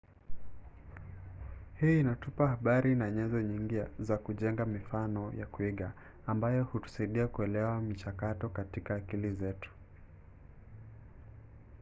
hii inatupa habari na nyenzo nyingi za kujenga mifano ya kuiga ambayo hutusaidia kuelewa michakato katika akili zetu